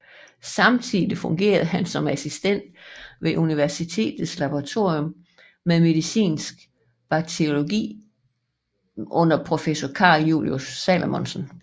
Samtidig hermed fungerede han som assistent ved universitetets laboratorium for medicinsk bakteriologi under professor Carl Julius Salomonsen